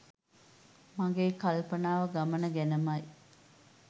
මගේ කල්පනාව ගමන ගැනමයි.